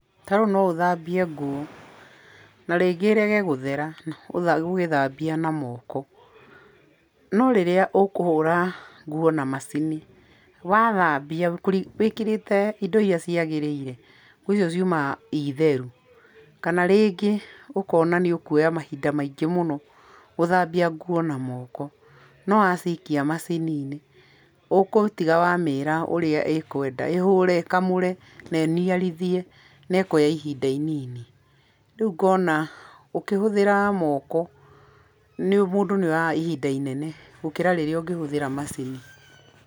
Tarĩu no ũthambie nguo, na rĩngĩ ĩrege gũthera, ũgĩthambia na moko, no rĩrĩa ũkũhura nguo na macini, wathambia wĩkĩrĩte indo iria ciagĩrĩire nguo ici ciumaga citheru, kana rĩngĩ ũkona nĩ ũkwoya mahinda maingĩ mũno gũthambia nguo na moko, no wacikia macini-inĩ ũgũtiga wa mĩĩra ũrĩa ũkwenda ĩhũre, ĩkamũre, ĩniarithie na ĩkoya ihinda inini, rĩũ ngona ũkĩhũthĩra moko mũndũ nĩ oyaga ihinda inene gũkĩra rĩrĩa ũkĩhũthira macini.